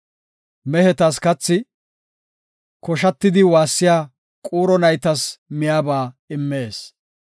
Mehetas kathi, Koshatidi waassiya quuro naytas miyaba immees.